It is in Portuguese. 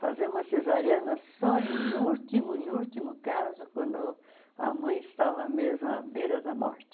Fazer uma cesariana só em último em último caso, quando a mãe estava mesmo à beira da morte.